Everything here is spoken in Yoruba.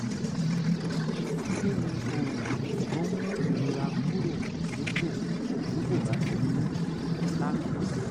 kí ni oògùn tó ń mú ìrora kúrò nípò tí kò bá ti ní láṣẹ?